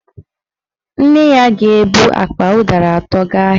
Nne ya ga-ebu akpa ụdara atọ gaa ahịa